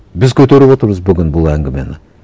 біз көтеріп отырмыз бүгін бұл әңгімені